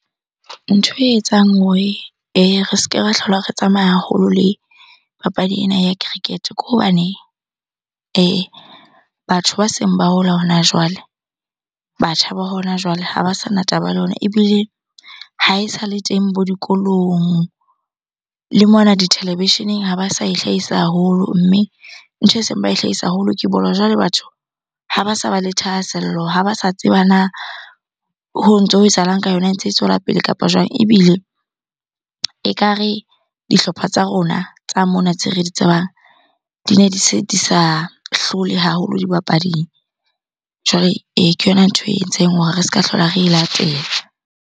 Ntho e etsang hore re se ke ra hlola re tsamaya haholo le papadi ena ya cricket-e. Ke hobane batho ba seng ba hola hona jwale, batjha ba hona jwale ha ba sana taba le yona. Ebile ha esale teng bo dikolong le mona ditelevisheneng ha ba sa e hlahisa haholo. Mme ntho eseng ba e hlahisa haholo ke bolo. Jwale batho ha ba sa ba le thahasello, ha ba sa tseba na ho ntso ho etsahalang ka yona, e ntse e tswela pele kapa jwang? Ebile ekare dihlopha tsa rona tsa mona tse re di tsebang, di ne di se di sa hlole haholo dibapading. Jwale ke yona ntho e entseng hore re ska hlola re e latela.